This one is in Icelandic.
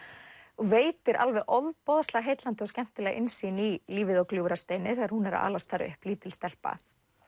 og veitir alveg ofboðslega heillandi og skemmtilega innsýn í lífið á Gljúfrasteini þegar hún er að alast þar upp lítil stelpa